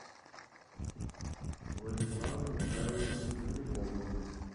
владиславом михайловичем земляковым